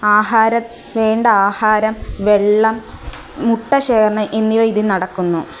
ആഹാരം വേണ്ട ആഹാരം വെള്ളം മുട്ട ശേഖരണം എന്നിവ ഇതിൽ നടക്കുന്നു.